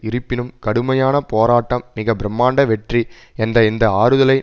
இருப்பினும் கடுமையான போராட்டம் மிக பிரமாண்ட வெற்றி என்ற இந்த ஆறுதலை